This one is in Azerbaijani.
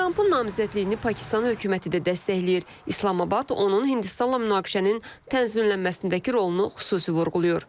Trump-ın namizədliyini Pakistan hökuməti də dəstəkləyir, İslamabad onun Hindistanla münaqişənin tənzimlənməsindəki rolunu xüsusi vurğulayır.